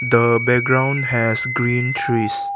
the background has green trees.